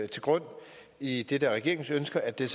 til grund i i det regeringen ønsker at det